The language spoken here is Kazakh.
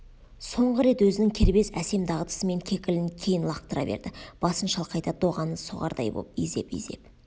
соңғы рет өзінің кербез әсем дағдысымен кекілін кейін лақтыра берді басын шалқайта доғаны соғардай боп изеп-изеп